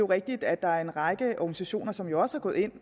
rigtigt at der er en række organisationer som også er gået ind